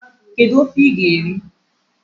Kedu ofe ị ga-eri?